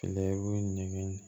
Layi